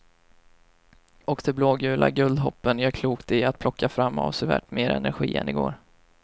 Och de blågula guldhoppen gör klokt i att plocka fram avsevärt mer energi än igår.